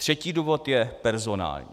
Třetí důvod je personální.